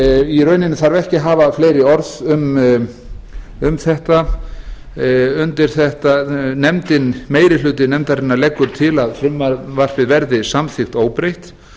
í rauninni þarf ekki að hafa fleiri orð um þetta meiri hluti nefndarinnar leggur til að frumvarpið verði samþykkt óbreytt